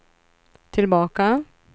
tillbaka